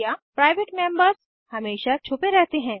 private members हमेशा छुपे रहते हैं